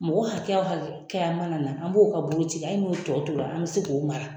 Mɔgɔ hakɛya o hakɛya mana na an b'o ka boloci a ye n'o tɔ tora an bɛ se k'o mara